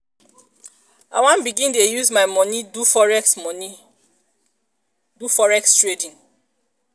i wan begin dey use my moni do forex moni do forex trading.